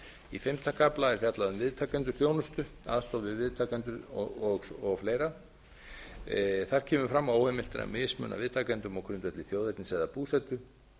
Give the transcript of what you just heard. í fimmta kafla er fjallað um viðtakendur þjónustu aðstoð við viðtakendur og fleira þar kemur fram að óheimilt er að mismuna viðtakendum á grundvelli þjóðernis eða búsetu